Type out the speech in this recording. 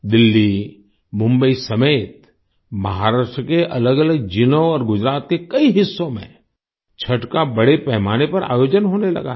दिल्ली मुंबई समेत महाराष्ट्र के अलगअलग जिलों और गुजरात के कई हिस्सों में छठ का बड़े पैमाने पर आयोजन होने लगा है